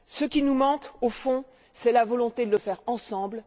Ce qui nous manque, au fond, c'est la volonté de le faire ensemble.